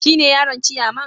Shine yaron ciyaman?